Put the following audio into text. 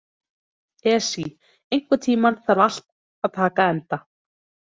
Esí, einhvern tímann þarf allt að taka enda.